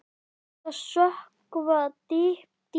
Er hægt að sökkva dýpra?